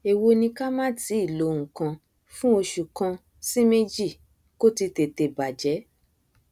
ẹwo ni ká má tíì lo nkan fún oṣù kan sí méjì kóti tètè bàjẹ